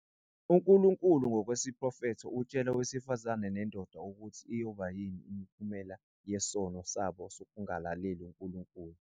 UNkulunkulu ngokwesiprofetho utshela owesifazane nendoda ukuthi iyoba yini imiphumela yesono sabo sokungalaleli uNkulunkulu.